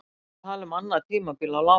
Við erum að tala um annað tímabil á láni.